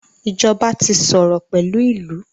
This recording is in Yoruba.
ìjọba tí sòrò pẹlú ilú.